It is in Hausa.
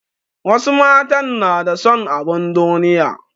Wasu matan na da son abin duniya.